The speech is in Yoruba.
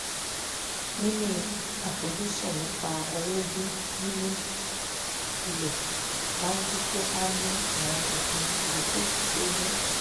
níní àfojúsùn nípa owó bíi níní ilé máa jẹ́ kí à ní àwọn ìpinnu ìdókòwò tí ó gùn